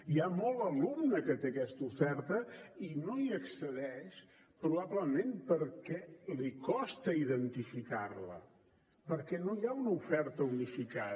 hi ha molt alumne que té aquesta oferta i no hi accedeix probablement perquè li costa identificar la perquè no hi ha una oferta unificada